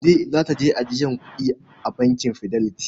Kande za ta je ajiye kuɗi a bankin Fidelity.